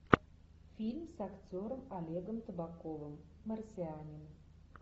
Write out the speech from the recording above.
фильм с актером олегом табаковым марсианин